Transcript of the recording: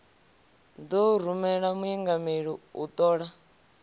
ḓo rumela muingameli u ṱola